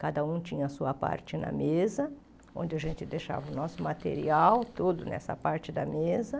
Cada um tinha a sua parte na mesa, onde a gente deixava o nosso material, tudo nessa parte da mesa.